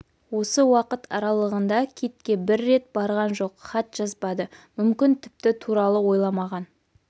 осы уақыт аралығында китке бір рет барған жоқ хат жазбады мүмкін тіпті туралы ойламаған